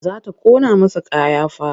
Za ta ƙona masa kaya fa.